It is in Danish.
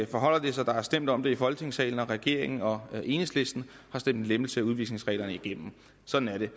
forholder det sig der er stemt om det i folketingssalen og regeringen og enhedslisten har stemt en lempelse af udvisningsreglerne igennem sådan er det